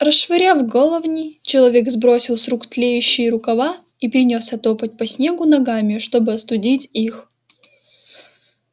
расшвыряв головни человек сбросил с рук тлеющие рукава и принялся топать по снегу ногами чтобы остудить их